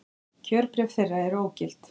Kjörbréf þeirra eru ógild